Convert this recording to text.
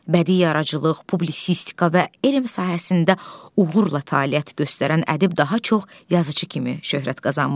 Bədii yaradıcılıq, publisistika və elm sahəsində uğurla fəaliyyət göstərən ədib daha çox yazıçı kimi şöhrət qazanmışdı.